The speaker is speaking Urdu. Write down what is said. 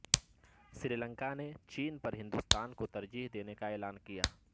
سری لنکا نے چین پر ہندوستان کو ترجیح دینے کا کیا اعلان